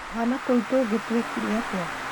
Twana tũu tũngĩ twĩkire atĩa